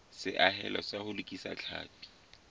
seahelo sa ho lokisa tlhapi